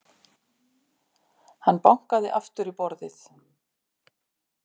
Hann bankaði aftur í borðið.